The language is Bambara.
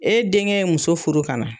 E denkɛ ye muso furu ka na